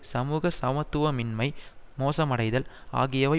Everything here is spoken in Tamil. சமூக சமத்துவமின்மை மோசமடைதல் ஆகியவை